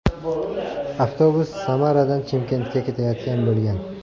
Avtobus Samaradan Chimkentga ketayotgan bo‘lgan.